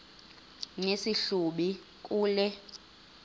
nesi hlubi kule